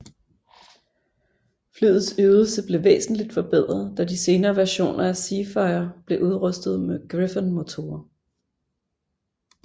Flyets ydelse blev væsentligt forbedret da de senere versioner af Seafire blev udrustet med Griffon motorer